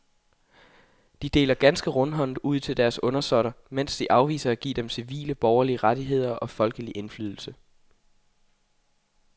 De deler ganske rundhåndet ud til deres undersåtter, mens de afviser at give dem civile borgerlige rettigheder og folkelig indflydelse.